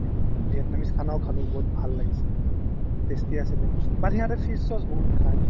vitenam's khana ও খালো বহুত ভাল লাগিছিল tasty আছিলে but সিহঁতে fish sauce বহুত খাই ।